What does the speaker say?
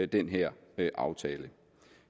den her aftale